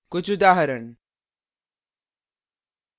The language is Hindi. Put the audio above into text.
कुछ उदाहरण